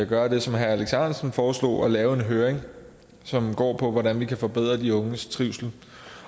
gøre det som herre alex ahrendtsen foreslog nemlig lave en høring som går ud på hvordan vi kan forbedre de unges trivsel